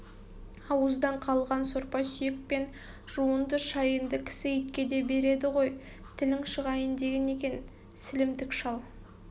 ауыздан қалған сорпа-сүйек пен жуынды-шайынды кісі итке де береді ғой тілің шығайын деген екен сілімтік шал